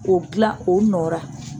O gilan o nɔ ra.